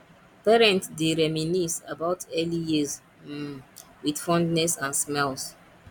parents dey reminisce about early years um with fondness and smiles